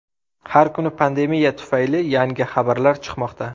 Har kuni pandemiya tufayli yangi xabarlar chiqmoqda.